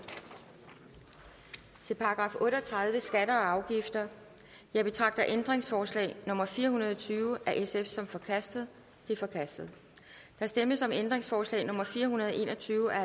til § otte og tredive skatter og afgifter jeg betragter ændringsforslag nummer fire hundrede og tyve af sf som forkastet det er forkastet der stemmes om ændringsforslag nummer fire hundrede og en og tyve af